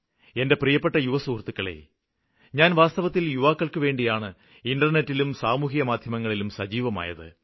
എന്റെ പ്രിയപ്പെട്ട യുവസുഹൃത്തുക്കളേ ഞാന് വാസ്തവത്തില് യുവാക്കള്ക്കുവേണ്ടിയാണ് ഇന്റര്നെറ്റിലും സാമൂഹ്യമാധ്യമങ്ങളിലും സജീവമായത്